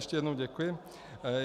Ještě jednou děkuji.